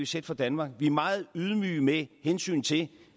sætte for danmark vi er meget ydmyge med hensyn til